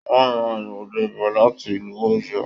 Wọn ra àgbàdo bọ láti ìlú Òyó.